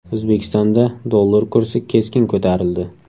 O‘zbekistonda dollar kursi keskin ko‘tarildi .